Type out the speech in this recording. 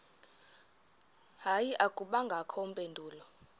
hayi akubangakho mpendulo